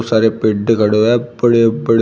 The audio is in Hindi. बहुत सारे पेड़ खड़े हुए हैं बड़े बड़े --